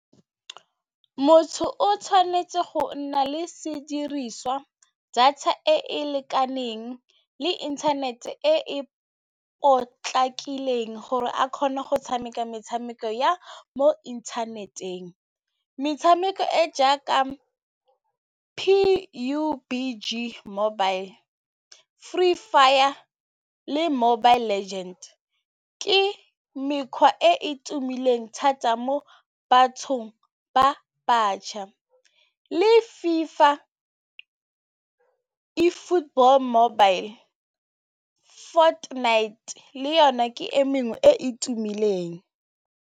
Motho o tshwanetse go nna le sediriswa, data e e lekaneng le inthanete e e potlakileng gore a kgone go tshameka metshameko ya mo inthaneteng metshameko e jaaka P_U_B_G mobile, Free Fire mobile, le Mobile Legends ke mekgwa e e tumileng thata mo bathong ba batšha le FIFA football mobile, Fortnite le yona ke e mengwe e e tumileng.